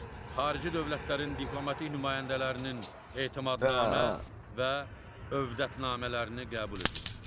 Xarici dövlətlərin diplomatik nümayəndələrinin etimadnamə və övdətnamələrini qəbul edir.